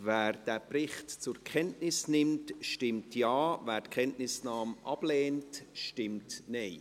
Wer diesen Bericht zur Kenntnis nimmt, stimmt Ja, wer die Kenntnisnahme ablehnt, stimmt Nein.